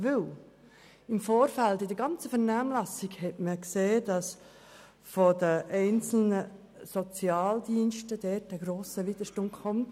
Denn im Vorfeld wurde in der gesamten Vernehmlassung ersichtlich, dass von den einzelnen Sozialdiensten ein grosser Widerstand ausgeht.